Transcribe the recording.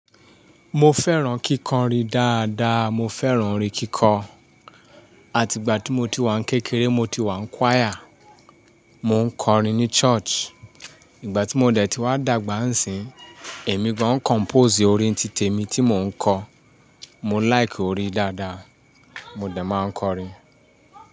Mo fẹ́ràn kíkọrin dáadáa, mo fẹ́ràn orin kíkọ. Àti ìgbà tí mo ti wà kékeré, mo ti wà ní choir, mo ń kọrin ní church. Ìgbà tí mo dẹ̀ ti wá dàgbà ń sì yín, èmi gan compose orin títè mi tí mò ń kọ. Mo like orin dáadáa, mo dẹ máa ń kọrin.